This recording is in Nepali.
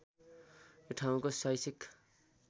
यो ठाउँको शैक्षिक